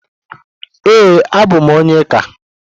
Ee, abụ m onye ike.